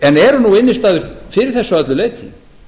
en eru nú innistæður fyrir þessu að öllu leyti